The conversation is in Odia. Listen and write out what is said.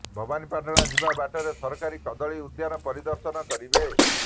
ଭବାନୀପାଟଣା ଯିବା ବାଟରେ ସରକାରୀ କଦଳୀ ଉଦ୍ୟାନ ପରିଦର୍ଶନ କରିବେ